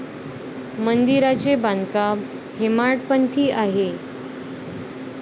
मंदिराचे बांधकाम हेमाडपंथी आहे.